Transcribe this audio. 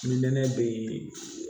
Ni nɛnɛ be yen